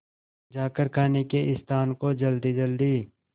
जाकर खाने के स्थान को जल्दीजल्दी